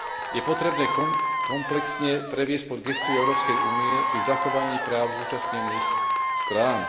je potrebné komplexne previesť pod gesciu Európskej únie pri zachovaní práv zúčastnených strán.